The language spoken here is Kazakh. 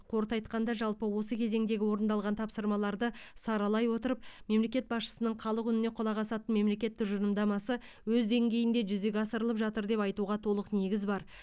қорыта айтқанда жалпы осы кезеңдегі орындалған тапсырмаларды саралай отырып мемлекет басшысының халық үніне құлақ асатын мемлекет тұжырымдамасы өз деңгейінде жүзеге асырылып жатыр деп айтуға толық негізі бар